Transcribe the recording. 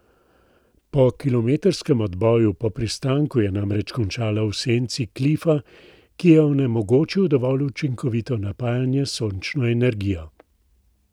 Po kilometrskem odboju po pristanku je namreč končala v senci klifa, ki je onemogočil dovolj učinkovito napajanje s sončno energijo.